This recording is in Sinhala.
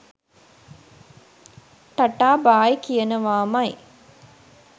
Ta-ta bye කියනවාමයි.